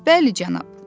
Bəli, cənab.